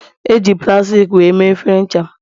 Eji plastik wee mee efere ncha m